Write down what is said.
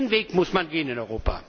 Den Weg muss man gehen in Europa!